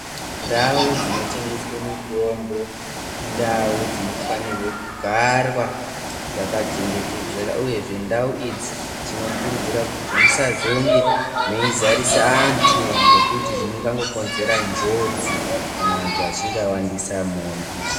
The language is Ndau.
Ndau dzinotengeswe mitombo indau dzinofanirwe kugarwa dzakachengetedzeka uyezve ndau idzi tinokurudzirwa kuti musazonge meizarisa antu ngekuti zvingangokonzera njodzi kana vantu vechinge vawandisa mona.